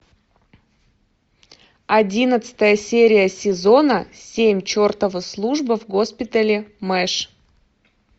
одиннадцатая серия сезона семь чертова служба в госпитале мэш